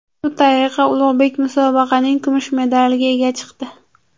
Shu tariqa Ulug‘bek musobaqaning kumush medaliga ega chiqdi.